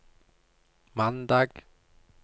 mandag